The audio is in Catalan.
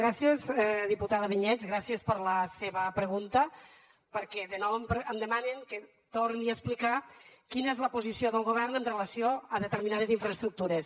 gràcies diputada vinyets gràcies per la seva pregunta perquè de nou em demanen que torni a explicar quina és la posició del govern en relació amb determinades infraestructures